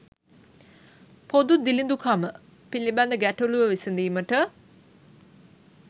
''පොදු දිළිඳුකම'' පිළිබඳ ගැටලුව විසඳීමට